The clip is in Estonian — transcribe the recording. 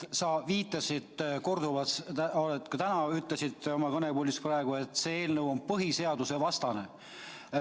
Sa viitasid korduvalt, ka täna ütlesid kõnepuldis, et see eelnõu on põhiseadusvastane.